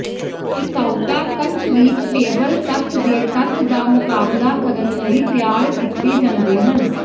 ਟਿਕਾਊਤਾ concrete paver ਤੱਤ ਦੇ ਤੱਤ ਦਾ ਮੁਕਾਬਲਾ ਕਰਨ ਲਈ ਤਿਆਰ ਕੀਤੇ ਜਾਂਦੇ ਹਨ